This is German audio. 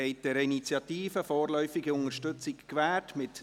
Abstimmung (Vorläufige Unterstützung der parlamentarischen Initiative